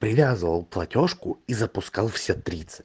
привязал платёжку и запускался